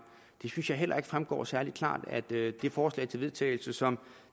det synes jeg heller ikke fremgår særlig klart af det forslag til vedtagelse som